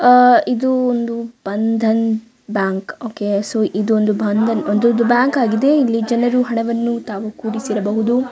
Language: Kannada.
ಆಹ್ಹ್ ಇದು ಒಂದು ಬಂಧನ್ ಬ್ಯಾಂಕ್ ಓಕೆ ಸೊ ಇದು ಒಂದು ಬಂಧನ್ ಇದು ಒಂದು ಬ್ಯಾಂಕ್ ಆಗಿದೆ ಇಲ್ಲಿ ಜನರು ಹಣವನ್ನು ತಾವು ಕೂಡಿಸಿಡಬಹುದು .